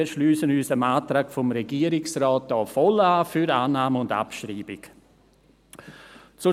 wir schliessen uns dem Antrag des Regierungsrates für Annahme und Abschreibung voll an.